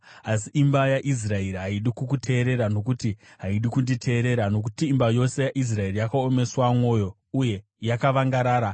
Asi imba yaIsraeri haidi kukuteerera nokuti haidi kunditeerera, nokuti imba yose yaIsraeri yakaomeswa mwoyo uye yakavangarara.